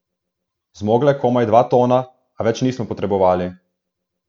Zmogla je komaj dva tona, a več nismo potrebovali.